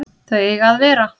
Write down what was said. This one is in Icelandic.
Þau eiga að vera